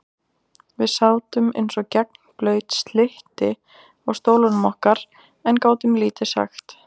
Við sátum eins og gegnblaut slytti á stólunum okkar en gátum lítið sagt.